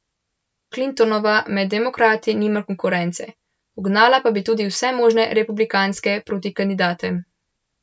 Clintonova med demokrati nima konkurence, ugnala pa bi tudi vse možne republikanske protikandidate.